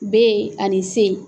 Ani C.